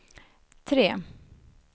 tre